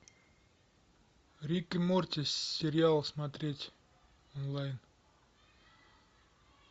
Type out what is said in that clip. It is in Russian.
рик и морти сериал смотреть онлайн